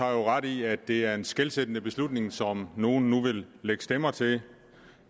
jo ret i at det er en skelsættende beslutning som nogen nu vil lægge stemmer til